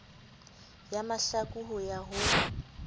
ya mahlaku ho ya ho